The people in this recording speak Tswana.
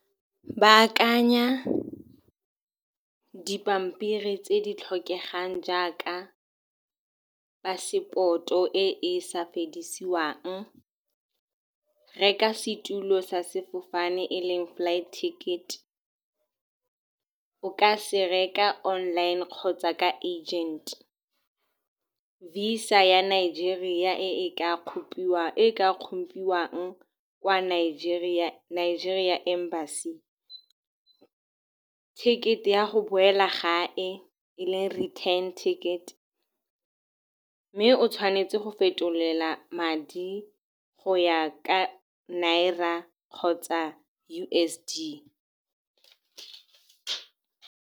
Baakanya dipampiri tse di tlhokegang jaaka phaseporoto e e sa fedisiwang. Reka setulo sa sefofane e leng flight ticket, o ka se reka online kgotsa ka agent. Visa ya Nigeria e e ka kgompiwang kwa Nigeria Embassy. Ticket-e ya go boela gae e leng return ticket. Mme o tshwanetse go fetolela madi go ya ka Nira kgotsa U_S_D.